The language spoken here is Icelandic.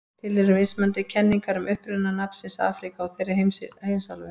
Til eru mismunandi kenningar um uppruna nafnsins Afríka á þeirri heimsálfu.